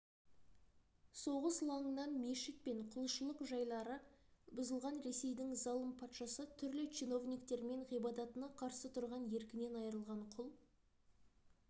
соғыс лаңынан мешіт және құлшылық жайлары бұзылған ресейдің залым патшасы түрлі чиновниктермен ғибадатына қарсы тұрған еркінен айырылған құл